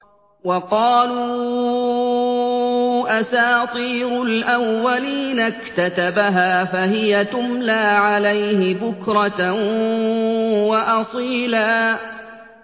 وَقَالُوا أَسَاطِيرُ الْأَوَّلِينَ اكْتَتَبَهَا فَهِيَ تُمْلَىٰ عَلَيْهِ بُكْرَةً وَأَصِيلًا